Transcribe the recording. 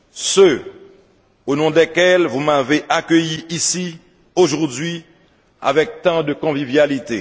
ceux au nom desquels vous m'avez accueilli ici, aujourd'hui, avec tant de convivialité.